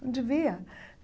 Não devia!